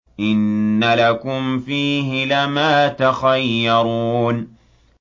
إِنَّ لَكُمْ فِيهِ لَمَا تَخَيَّرُونَ